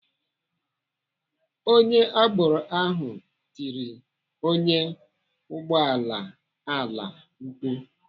Onye agboro ahụ tiri ọnyá ụgbọala ala mkpu.